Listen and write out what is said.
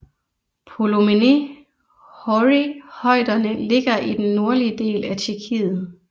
Polomené hory højderne ligger i den nordlige del af Tjekkiet